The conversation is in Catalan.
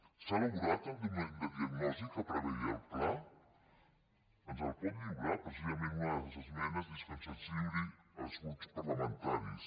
s’ha elaborat el document de diagnosi que preveia el pla ens el pot lliurar precisament una de les esmenes és que se’ns lliuri als grups parlamentaris